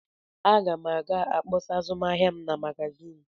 Aga m ga-akpọsa azụmahịa m na magazin.